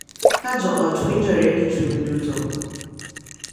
Ka jo ot winjore gi chuny duto,